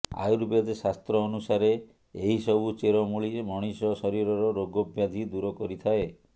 ଆୟୁର୍ବେଦ ଶାସ୍ତ୍ର ଅନୁସାରେ ଏହି ସବୁ ଚେର ମୁଳି ମଣିଷ ଶରୀରର ରୋଗ ବ୍ୟାଧି ଦୂର କରିଥାଏ